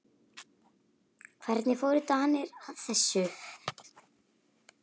Hvernig fóru Danir að þessu?